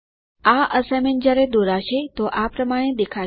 આ અસાઇનમેન્ટ જ્યારે દોરાશે તો આ પ્રમાણે દેખાશે